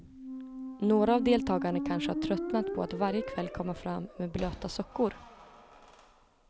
Några av deltagarna kanske har tröttnat på att varje kväll komma fram med blöta sockor.